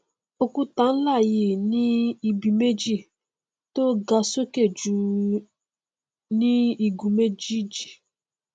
òkúta nlá yìí ní ibi méjì tọn ga sókè jù ní igun méjéèjì